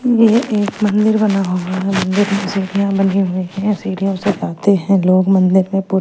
ये एक मंदिर बना हुआ है जिनमें सीढ़ियां बनी हुई हैं सीढ़ियों से जाते हैं लोग मंदिर में पू--